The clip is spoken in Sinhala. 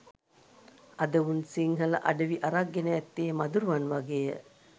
අද උන් සිංහල අඩවි අරක් ගෙන ඇත්තේ මදුරුවන් වගේය